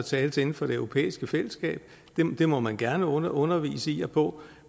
tales inden for det europæiske fællesskab må man gerne undervise i og på